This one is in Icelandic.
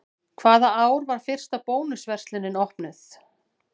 Hvaða ár var fyrsta Bónus verslunin opnuð?